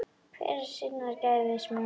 Hver er sinnar gæfu smiður